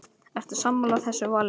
Ertu sammála þessu vali?